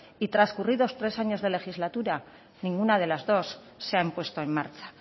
y trascurridos tres años de legislatura ninguna de las dos se han puesto en marcha